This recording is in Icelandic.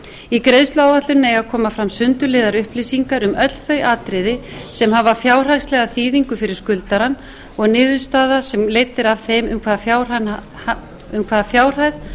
í greiðsluáætluninni eiga að koma fram sundurliðaðar upplýsingar um öll þau atriði sem hafa fjárhagslega þýðingu fyrir skuldarann og niðurstaða sem leidd er af þeim um hvaða fjárhæð